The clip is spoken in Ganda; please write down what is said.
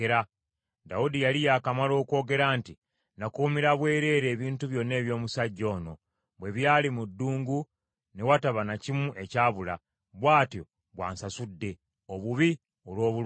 Dawudi yali yakamala okwogera nti, “Nakuumira bwereere ebintu byonna eby’omusajja ono bwe byali mu ddungu ne wataba na kimu ekyabula; bw’atyo bw’ansasudde, obubi olw’obulungi.